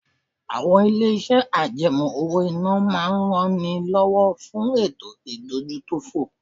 Àwọn ilé-iṣẹ́ àjẹmọ́ owó-ìná máa ń ran ni lọ́wọ́ fún ètò ìdójútòfò